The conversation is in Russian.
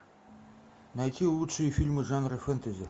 найти лучшие фильмы жанра фэнтези